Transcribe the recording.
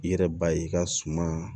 I yɛrɛ ba ye i ka suma